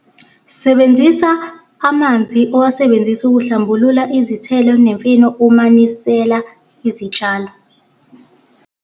Sebenzisa amanzi owasebenzise ukuhlambulula izithelo nemifino uma unisela izitshalo.